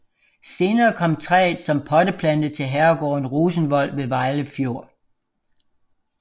Senere kom træet som potteplante til herregården Rosenvold ved Vejle Fjord